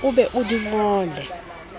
o be o di ngole